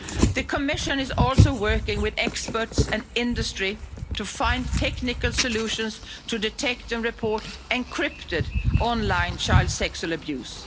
The Commission is also working with experts and industry to find technical solutions to detect and report encrypted online child sexual abuse.